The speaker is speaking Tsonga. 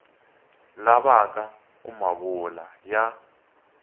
lavaka ku ma vula ya